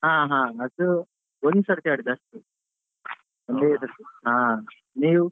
ಹ ಹಾ ಅದು ಒಂದು ಸರ್ತಿ ಆಡಿದ್ದು ಅಷ್ಟೇ ಒಂದೇ ಸರ್ತಿ ಹಾ ನೀವು.